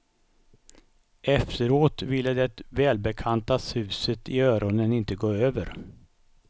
Efteråt ville det välbekanta suset i öronen inte gå över.